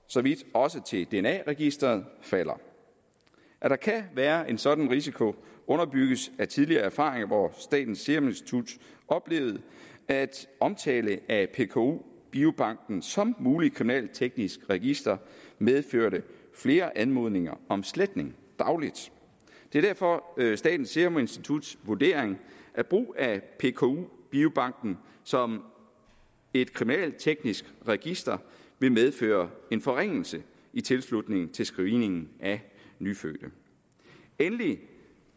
så vidt også til dna registeret falder at der kan være en sådan risiko underbygges af tidligere erfaringer hvor statens serum institut oplevede at omtale af pku biobanken som muligt kriminalteknisk register medførte flere anmodninger om sletning dagligt det er derfor statens serum instituts vurdering at brug af pku biobanken som et kriminalteknisk register vil medføre en forringelse i tilslutning til screeningen af nyfødte endelig